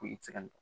Ko i tɛ se ka nin